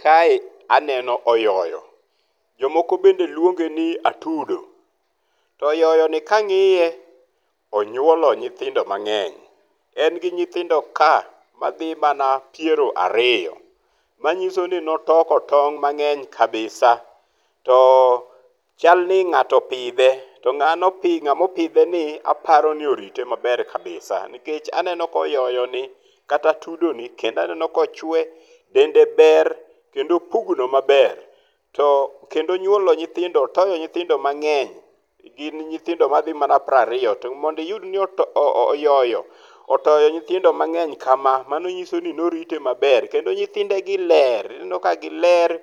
Kae aneno oyoyo jomoko bende luonge ni atudo, to oyoyo ni kangiye onyuolo nyithindo mangeny, en gi nyithindo ka madhi mana 20,manyisoni ne otoko tong mangeny kabisa, to chal ni ngato opidhe to ngama opidhe ni aparoni orite maber kabisa nikech aneno ka oyoyo ni kata atudoni kendo aneno ka ochwe, dende ber kendo opugno maber to kendo onyuolo nyithindo, otoyo nyithindo mangeny gin nyithindo madhi mana 20 to mondo iyud ni oyoyo otoyo nyithindo mangeny kama mano nyiso ni norite maber, kendo nyithinde gi ler inenoo ka giler,